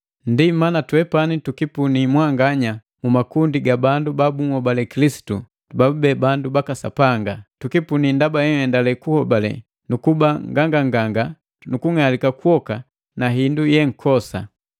Ndi mana twepani tukipuni mwanganya mu makundi ga bandu ba bunhobale Kilisitu babube bandu baka Sapanga. Tukipuni ndaba henhendale kuhobale nuku kuba nganganganga nu kung'alika kwoka na hindu yenkosa.